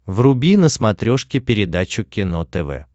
вруби на смотрешке передачу кино тв